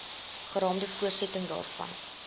geraamde voortsetting daarvan